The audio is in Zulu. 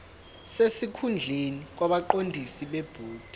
sesikhundleni kwabaqondisi bebhodi